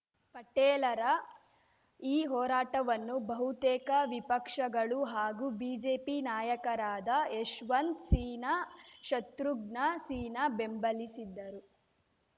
ಪಟೇಲರ ಈ ಹೋರಾಟವನ್ನು ಬಹುತೇಕ ವಿಪಕ್ಷಗಳು ಹಾಗೂ ಬಿಜೆಪಿ ನಾಯಕರಾದ ಯಶವಂತ್‌ ಸಿನ್ಹಾ ಶತ್ರುಜ್ಞಾ ಸಿನ್ಹಾ ಬೆಂಬಲಿಸಿದ್ದರು